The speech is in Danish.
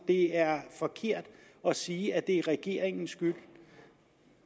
det er forkert at sige at det er regeringens skyld